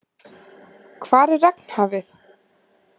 Hvar er Regnhafið?